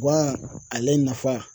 Gan ale nafa